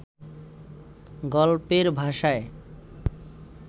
গল্পের ভাষায়